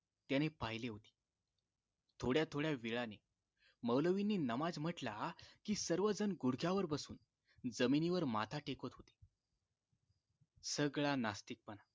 त्यांने पहिले होते थोड्या थोड्या वेळाने मौलवींनी नमाज म्हटला कि सर्व जण गुढघ्यावर बसून जमिनीवर माथा टेकत होते सगळा नास्तिकपणा